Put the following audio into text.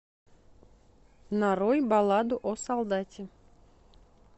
нарой балладу о солдате